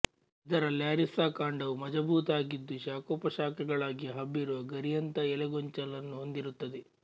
ಇದರ ಲ್ಯಾರಿಸ್ಸಾ ಕಾಂಡವು ಮಜಬೂತಾಗಿದ್ದು ಶಾಖೋಪಶಾಖೆಗಳಾಗಿ ಹಬ್ಬಿರುವ ಗರಿಯಂಥ ಎಲೆಗೊಂಚಲನ್ನು ಹೊಂದಿರುತ್ತದೆ